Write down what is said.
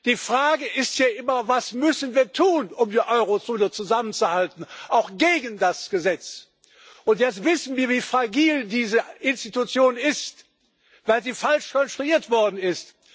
Die Frage ist ja immer Was müssen wir tun, um die Euro Zone zusammenzuhalten auch gegen das Gesetz? Und jetzt wissen wir, wie fragil diese Institution ist, weil sie falsch konstruiert worden ist.